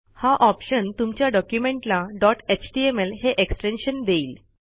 हा ऑप्शन तुमच्या डॉक्युमेंटला डॉट एचटीएमएल हे एक्सटेन्शन देईल